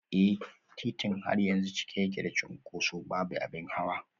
Eh, titin har yanzu cike yake da cunkoso, babu abin hawa